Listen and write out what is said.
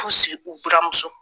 u buramuso.